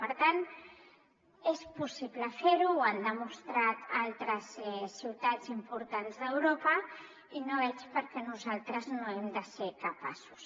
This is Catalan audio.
per tant és possible fer·ho ho han demostrat al·tres ciutats importants d’europa i no veig per què nosaltres no n’hem de ser capaços